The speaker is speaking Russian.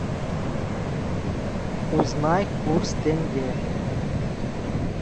узнай курс тенге